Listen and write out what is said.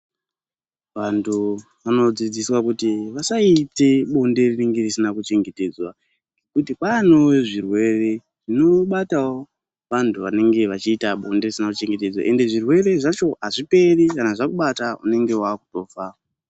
Vantu vanodzidziswa kuti vasaite bonde rinenge risina kuchengetedzwa kwanewo zvirwere zvinobatawo vantu vanenge vachiita bonde risina kuchengetedzwa ende zvirwere zvacho azviperi endi zvakubata unenge wakutofa.